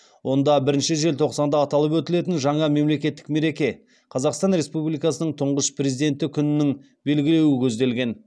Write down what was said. онда бірінші желтоқсанда аталып өтілетін жаңа мемлекеттік мереке қазақстан республикасының тұңғыш президенті күнін белгілеу көзделген